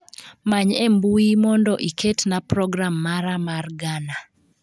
Many e mbui mond iket na program mara mar ghana